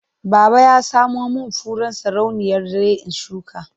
Baba ya samo min furen sarauniyar dare in shuka.